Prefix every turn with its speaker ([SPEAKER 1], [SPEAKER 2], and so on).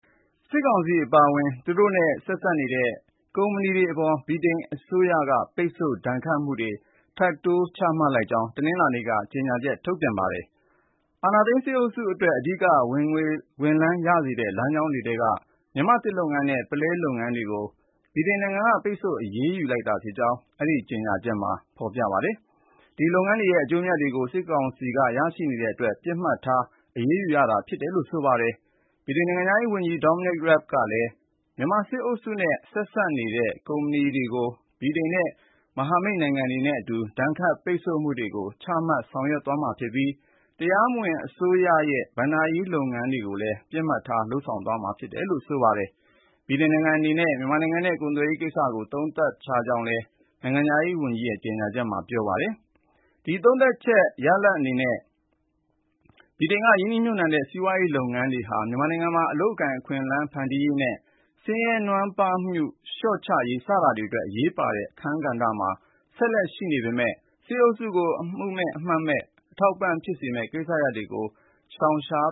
[SPEAKER 1] စစ်ကောင်စီ အပါအဝင် သူတို့နဲ့ ဆက်စပ်နေတဲ့ ကုမ္ပဏီတွေအပေါ် ဗြိတိန်အစိုးရက ပိတ်ဆို့ဒဏ်ခတ်မှုတွေ ထပ်တိုးပြီး ချမှတ်လိုက်ကြောင်း တနင်္လာနေ့က ကြေညာချက်ထုတ်ပြန်ခဲ့ပါတယ်။ အာဏာသိမ်းစစ်အုပ်စုအတွက် အဓိက ဝင်ငွေရစေတဲ့ လမ်းကြောင်းတွေထဲက မြန်မာ သစ်လုပ်ငန်းနဲ့ ပုလဲလုပ်ငန်း တွေကို ဗြိတိန်က ပိတ်ဆို့အရေးယူလိုက်ကြောင်း အဲဒီကြေညာချက်မှာ ဖေါ်ပြထားပါတယ်။ ဒီလုပ်ငန်းတွေရဲ့ အကျိုးအမြတ်တွေကို စစ်ကောင်စီက ရရှိနေတဲ့အတွက် ပစ်မှတ်ထား အရေးယူရတာဖြစ်တယ်လို့ ဆိုပါတယ်။ ဗြိတိန်နိုင်ငံခြားရေးဝန်ကြီး Dominic Rabb ကလည်း- မြန်မာစစ်အုပ်စုနဲ့ ဆက်စပ်နေတဲ့ ကုမ္ပဏီတွေကို ဗြိတိန်ရဲ့ မဟာမိတ်နိုင်ငံတွေနဲ့အတူ ဒဏ်ခတ်ပိတ်ဆို့မှုတွေကို ချမှတ်ဆောင်ရွက်သွားမှာဖြစ်ပြီး တရားမဝင်အစိုးရရဲ့ ဘဏ္ဍာရေးလုပ်ငန်းတွေကိုလည်း ပစ်မှတ်ထား လုပ်ဆောင်သွားမှာဖြစ်တယ် လို့ ပြောကြားခဲ့ပါတယ်။ ဗြိတိန်နိုင်ငံအနေနဲ့ မြန်မာနိုင်ငံနဲ့ ကုန်သွယ်ရေးကိစ္စကို သုံးသပ်ခဲ့ကြောင်းလည်း Dominic Rabb ရဲ့ကြေညာချက်မှာ ဖေါ်ပြထားပါတယ်။ အဲဒီသုံးသပ်ချက် ရလာဒ်အနေနဲ့ ဗြိတိန်က ရင်းနှီးမြှုပ်နှံတဲ့ စီးပွားရေးလုပ်ငန်းတွေဟာ မြန်မာနိုင်ငံမှာ အလုပ်အကိုင်အခွင့်အလမ်းဖန်တီးရေးနဲ့ ဆင်းရဲနွမ်းပါးမှု လျှော့ချရေး စတာတွေအတွက် အရေးပါတဲ့ အခန်းကဏ္ဍမှာ ဆက်လက်ရှိနေပေမဲ့ စစ်အုပ်စုကို အမှုမဲ့ အမှတ်မဲ့ အထောက်အပံ့
[SPEAKER 2] ဖြစ်စေမယ့် ကိစ္စရပ်တွေကို ရှောင်ရှား